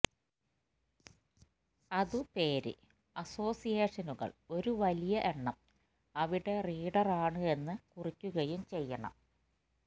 അതു പേര് അസോസിയേഷനുകൾ ഒരു വലിയ എണ്ണം അവിടെ റീഡർ ആണ് എന്ന് കുറിക്കുകയും ചെയ്യണം